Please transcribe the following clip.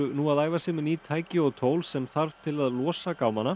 nú að æfa sig með ný tæki og tól sem þarf til að losa